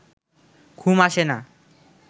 ঘুম আসে না